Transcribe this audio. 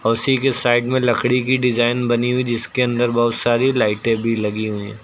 उसी के साइड में लकड़ी की डिजाइन बनी हुई जिसके अंदर बहोत सारी लाइटें भी लगी हुई है।